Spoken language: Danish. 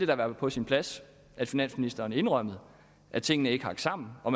da være på sin plads at finansministeren indrømmede at tingene ikke hang sammen og